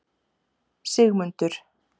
Sigmundur